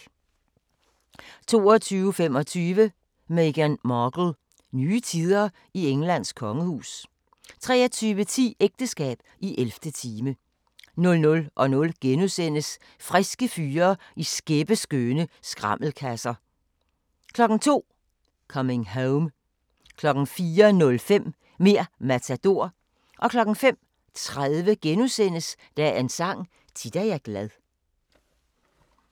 22:25: Meghan Markle - nye tider i Englands kongehus 23:10: Ægteskab i 11. time 00:00: Friske fyre i skæppeskønne skrammelkasser * 02:00: Coming Home 04:05: Mer' Matador 05:30: Dagens Sang: Tit er jeg glad *